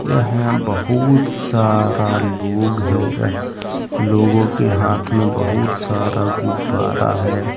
यहां बहुत सारा लोग है लोगो के हाथ में बहुत सारा गुब्बारा है।